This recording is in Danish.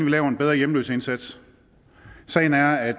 laver en bedre hjemløseindsats sagen er at